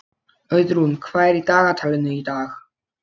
Auðrún, hvað er í dagatalinu í dag?